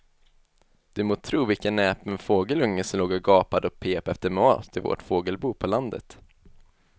Du må tro vilken näpen fågelunge som låg och gapade och pep efter mat i vårt fågelbo på landet.